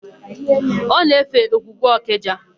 Ọ na-efe ogwugwu Ọkịja.